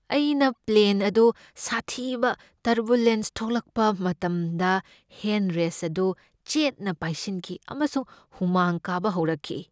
ꯑꯩꯅ ꯄ꯭ꯂꯦꯟ ꯑꯗꯨ ꯁꯥꯊꯤꯕ ꯇꯔꯕꯨꯂꯦꯟꯁ ꯊꯦꯡꯅꯔꯛꯄ ꯃꯇꯝꯗ ꯍꯦꯟ ꯔꯦꯁ꯭ꯠ ꯑꯗꯨ ꯆꯦꯠꯅ ꯄꯥꯏꯁꯤꯟꯈꯤ ꯑꯃꯁꯨꯡ ꯍꯨꯃꯥꯡ ꯀꯥꯕ ꯍꯧꯔꯛꯈꯤ꯫